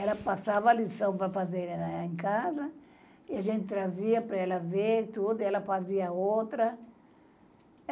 Ela passava lição para fazer em casa e a gente trazia para ela ver tudo, ela fazia outra.